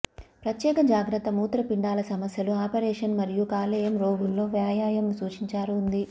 ప్రత్యేక జాగ్రత్త మూత్రపిండాల సమస్యలు ఆపరేషన్ మరియు కాలేయం రోగుల్లో వ్యాయామం సూచించారు ఉంది